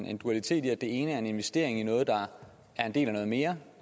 er en dualitet i at det ene er en investering i noget der er en del af noget mere